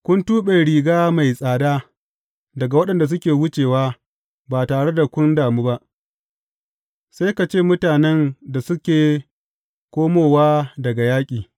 Kun tuɓe riga mai tsada daga waɗanda suke wucewa ba tare da kun damu ba, sai ka ce mutanen da suke komowa daga yaƙi.